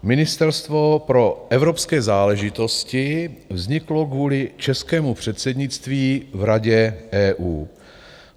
Ministerstvo pro evropské záležitosti vzniklo kvůli českému předsednictví v Radě EU.